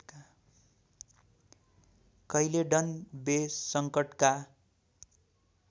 Caledon Bay सङ्कटका